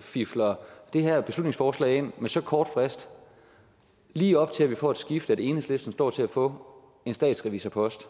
fifler det her beslutningsforslag ind med så kort frist lige op til at vi får det skifte at enhedslisten står til at få en statsrevisorpost